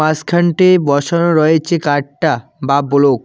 মাসখানটি বসানো রয়েছে কাডটা বা ব্লু ।